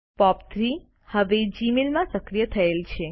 પોપ3 હવે જીમેઇલ માં સક્રિય થયેલ છે